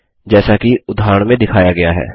जैसा कि उदाहरण में दिखाया गया है